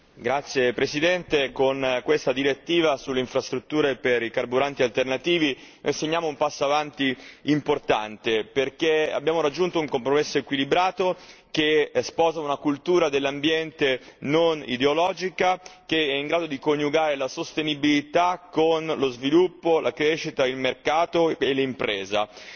Signora Presidente, con questa direttiva sulle infrastrutture per i carburanti alternativi facciamo un passo in avanti importante perché abbiamo raggiunto un compromesso equilibrato che sposa una cultura dell'ambiente non ideologica in grado di coniugare la sostenibilità con lo sviluppo, la crescita, il mercato e l'impresa